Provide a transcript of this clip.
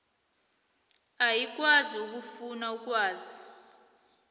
ayikwazi ukufuna ukwazi